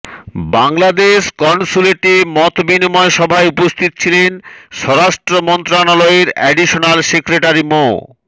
বাংলাদেশ কনসুলেটে মত বিনিময় সভায় উপস্থিত ছিলেন স্বরাষ্ট্র মন্ত্রণালয়ের অ্যাডিশনাল সেক্রেটারি মো